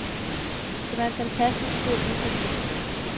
Det var en fantastisk god indfaldsvinkel.